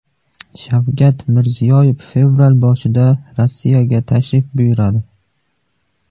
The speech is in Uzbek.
Shavkat Mirziyoyev fevral boshida Rossiyaga tashrif buyuradi.